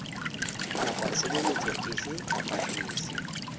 kapa tshebeletso efe kapa efe